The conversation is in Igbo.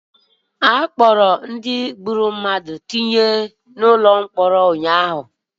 Akpọrọ ọtụtụ ndị gburu mmadụ tinye na ụkọ mkpọrọ ụnyaahụ